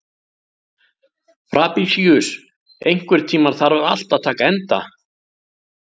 Fabrisíus, einhvern tímann þarf allt að taka enda.